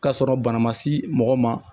K'a sɔrɔ bana ma s'i mɔgɔ ma